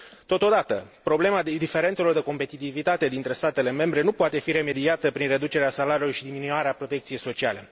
Totodată, problema diferențelor de competitivitate dintre statele membre nu poate fi remediată prin reducerea salariilor și diminuarea protecției sociale.